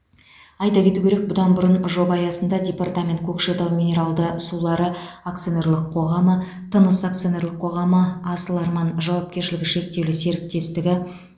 айта кету керек бұдан бұрын жоба аясында департамент көкшетау минералды сулары акционерлік қоғамы тыныс акционерлік қоғамы асыл арман жауапкершілігі шектеулі серіктестігі